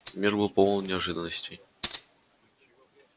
мир был полон неожиданностей